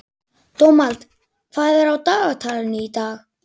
Dómald, hvað er á dagatalinu í dag?